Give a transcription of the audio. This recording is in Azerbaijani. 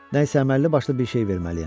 Nəsə əməlli başlı bir şey verməliyəm.